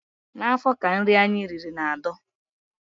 N'afọ ka nri anyị riri na-adọ.